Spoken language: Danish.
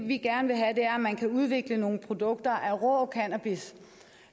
vi gerne vil have er at man kan udvikle nogle produkter af rå cannabis